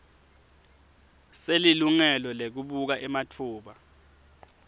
selilungelo lekubuka ematfuba